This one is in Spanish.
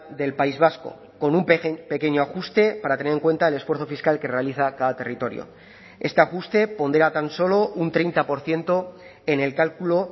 del país vasco con un pequeño ajuste para tener en cuenta el esfuerzo fiscal que realiza cada territorio este ajuste pondera tan solo un treinta por ciento en el cálculo